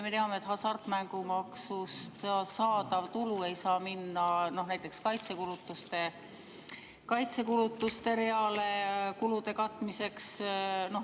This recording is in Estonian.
Me teame, et hasartmängumaksust saadav tulu ei saa minna näiteks kaitsekulutuste reale kulude katmiseks.